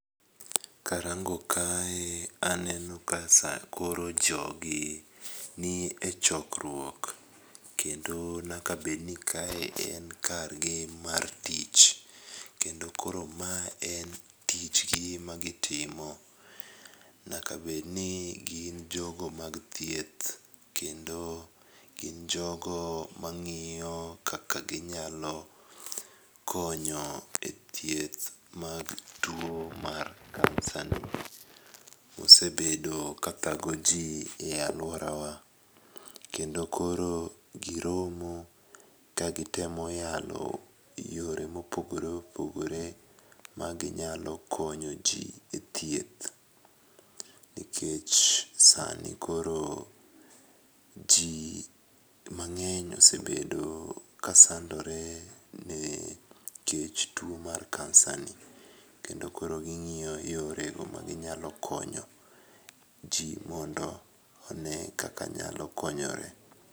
Karango kae aneno ka sa koro jogi nie chokruok ,kendo nyaka bedni kae en kargi mar tich ,kendo koro ma en tichgi magitimo, nyaka bedni gin jogo mag thieth kendo gin jogo mang'iyo kaka ginyalo konyo e thieth mag tuwo mar kansa, mosebedo kathago ji e alworawa, kendo koro giromo kagitemo yalo yore mopogore opogore ma ginyalo konyoji e thieth nikech sani koro ji mang'eny osebedo ka sandore ne kech tuwo mar kansani. Kendo koro ging'iyo yorego maginyalo konyo ji mondo one kaka nyalo konyore.